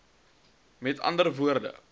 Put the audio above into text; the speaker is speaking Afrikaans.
m a w